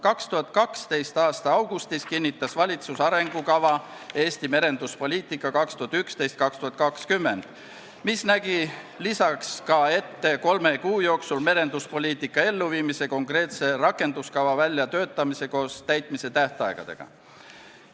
2012. aasta augustis kinnitas valitsus arengukava "Eesti merenduspoliitika 2011–2020", mis nägi ette töötada kolme kuu jooksul välja merenduspoliitika elluviimiseks konkreetne rakenduskava koos täitmise tähtaegadega.